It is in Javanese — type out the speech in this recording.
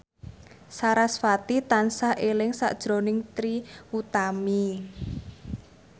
sarasvati tansah eling sakjroning Trie Utami